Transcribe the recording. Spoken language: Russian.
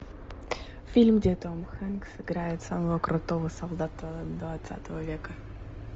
фильм где том хэнкс играет самого крутого солдата двадцатого века